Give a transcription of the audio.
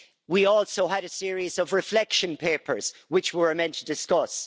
We also had a series of reflection papers, which we were meant to discuss.